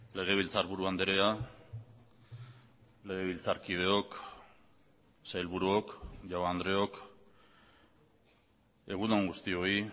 legebiltzarburu andrea legebiltzarkideok sailburuok jaun andreok egun on guztioi